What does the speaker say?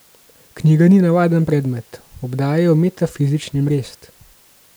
Knjiga ni navaden predmet, obdaja jo metafizični mrest.